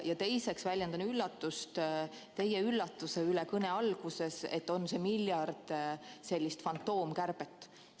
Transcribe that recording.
Ja teiseks väljendan üllatust teie üllatuse üle, mida te kõne alguses ilmutasite, et meil on ühe miljardi euro jagu fantoomkärbet.